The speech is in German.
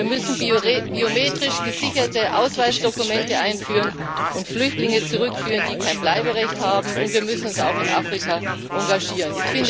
Wir müssen biometrisch gesicherte Ausweisdokumente einführen und Flüchtlinge zurückführen, die kein Bleiberecht haben, und wir müssen uns auch in Afrika engagieren.